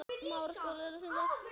Þau eiga fjórar dætur.